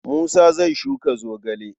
Musa zai shuka zogale.